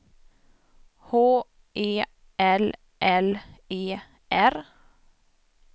H E L L E R